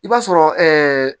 I b'a sɔrɔ